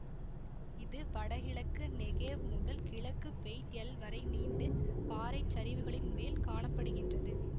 இது வடகிழக்கு நெகேவ் முதல் கிழக்கு பெய்ட் எல் வரை நீண்டு பாறைச்சரிவுகளின் மேல் காண படுகின்றது